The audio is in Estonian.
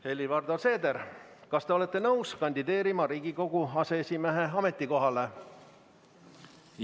Helir-Valdor Seeder, kas te olete nõus kandideerima Riigikogu aseesimehe ametikohale?